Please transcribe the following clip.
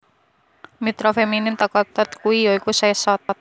Mitra feminin teka thath kui ya iku Seshat